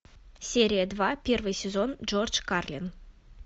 серия два первый сезон джордж карлин